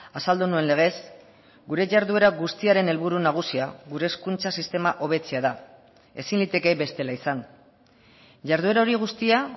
azaldu nuen legez gure jarduera guztiaren helburu nagusia gure hezkuntza sistema hobetzea da ezin liteke bestela izan jarduera hori guztia